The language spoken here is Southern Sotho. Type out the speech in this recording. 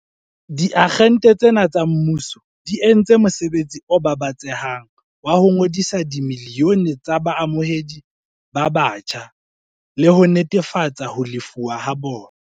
Diagente tsena tsa mmuso di entse mosebetsi o babatsehang wa ho ngodisa dimilione tsa baamohedi ba batjha le ho netefatsa ho lefuwa ha bona.